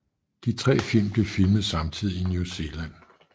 De tre film blev filmet samtidig i New Zealand